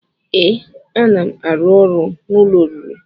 Ee, a na m arụ ọrụ n'ụlọ oriri